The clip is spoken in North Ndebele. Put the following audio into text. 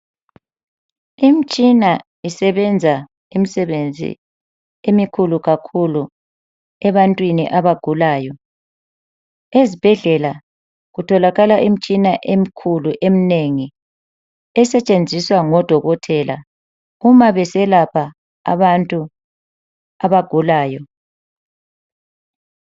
Imitshina isebenza imisebenzi emikhulu kakhulu ebantwini abagulayo ezibhedlela kutholakala imitshini emikhulu eminengi esentshenziswa ngodokotela uma beselapha abantu abagulayo